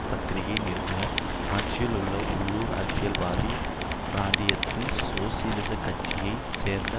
பத்திரிகை நிருபர் ஆட்ச்சியிலுள்ள உள்ளூர் அரசியல்வாதி பிராந்தியத்தின் சோசலிசக்கட்ச்சியைச் சேர்ந்த